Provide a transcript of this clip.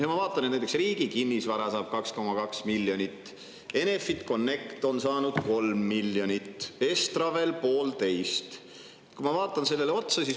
Ma vaatan, et näiteks Riigi Kinnisvara saab 2,2 miljonit, Enefit Connect on saanud 3 miljonit, Estravel 1,5 miljonit.